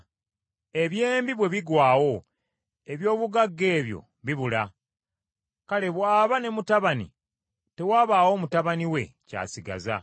ebyembi bw’ebigwawo eby’obugagga ebyo bibula, kale bw’aba ne mutabani tewabaawo mutabani we ky’asigaza.